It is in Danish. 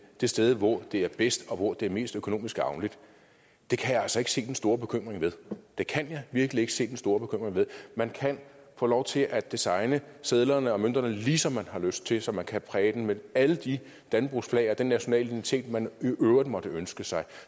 det sted hvor det er bedst og hvor det er mest økonomisk gavnligt kan jeg altså ikke se den store bekymring ved det kan jeg virkelig ikke se den store bekymring ved man kan få lov til at designe sedlerne og mønterne ligesom man har lyst til så man kan præge dem med alle de dannebrogsflag og den nationale identitet man i øvrigt måtte ønske sig